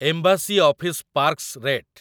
embassy office parks rate